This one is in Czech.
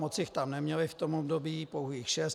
Moc jich tam neměli v tom období, pouhých šest.